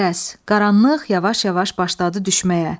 Qərəz, qaranlıq yavaş-yavaş başladı düşməyə.